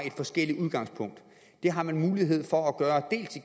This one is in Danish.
forskellige udgangspunkter det har man mulighed for at gøre